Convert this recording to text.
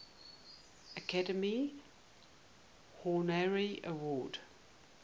academy honorary award